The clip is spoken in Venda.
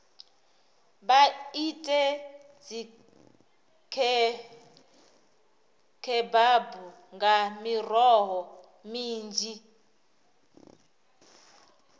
vha ite dzikhebabu nga miroho minzhi